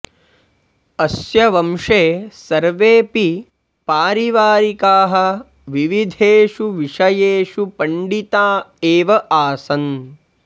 अस्य वंशे सर्वेऽपि पारिवारिकाः विविधेषु विषयेषु पण्डिता एव आसन्